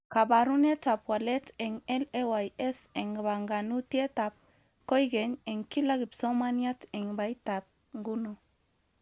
Kabarunetab walet eng LAYS eng banganutietab koykeny eng kila kipsomaniat eng baitab nguno